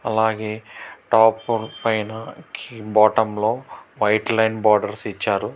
అలాగే టాప్ పైన కీ బాటుం లో వైట్ లైన్ బోర్డర్స్ ఇచ్చారు.